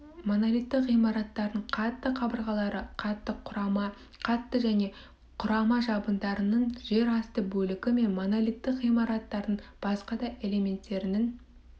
монолитті ғимараттардың қатты қабырғалары қатты құрама қатты және құрама жабындарының жер асты бөлігі және монолиттік ғимараттардың басқа да элементтерінің